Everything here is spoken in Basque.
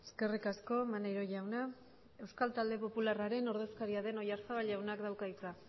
eskerrik asko maneiro jauna euskal talde popularraren ordezkaria den oyarzabal jaunak dauka hitza